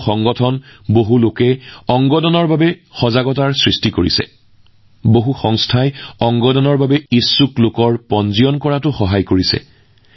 কিছুমান সংগঠনে অংগদানৰ বিষয়ে মানুহক সজাগ কৰি তুলিছে কিছুমান সংগঠনে অংগদান কৰিবলৈ ইচ্ছুক লোকসকলক পঞ্জীয়ন কৰাত সহায় কৰিছে